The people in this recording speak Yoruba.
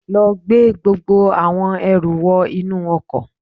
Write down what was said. Lọ gbé gbogbo àwọn ẹrù wọ inú ọkọ̀